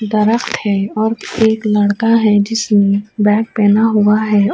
درخت ہے اور ایک لڑکا ہے۔ جسنے بیگ پہنا ہوا ہے۔